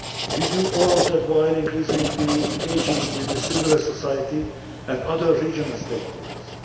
We do all that while increasingly engaging with the civil society and other regional stakeholders.